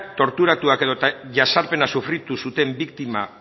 torturatuak edota jazarpenak sufritu zuten biktima